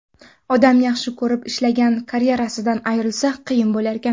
Odam yaxshi ko‘rib, ishlagan karyerasidan ayrilsa, qiyin bo‘larkan.